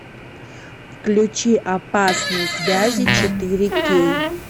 включи опасные связи четыре кей